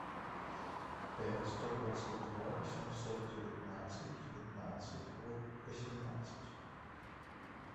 пять сто двадцать два восемьсот девятнадцать девятнадцать восемнадцать